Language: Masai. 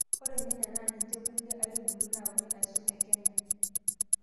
Ore irnyanya naa ninche kulie aitubulu naauni aaisul te kenya.